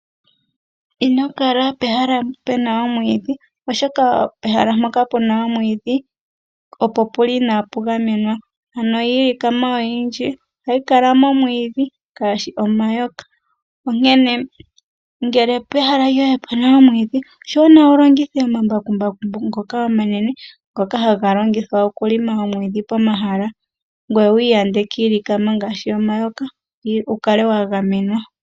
Ino kala pehala pu na omwiidhi, oshoka pehala mpoka pu na omwiidhi, opo inaa pu gamenwa. Ano iilikama oyindji ohayi kala momwiidhi ngaashi omayoka, onkene ngele pehala lyoye opu na omwiidhi oshiwanawa wu longithe omambakumbaku ngoka omanene, ngoka haga longithwa okulima omwiidhi pomahala ngoye wi ikeeleele kiilikama ngaashi omayoka, wu kale wa gamenwa.